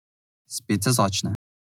Spet se začne.